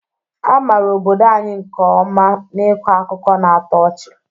A maara obodo anyị nke ọma n'ịkọ akụkọ na-atọ ọchị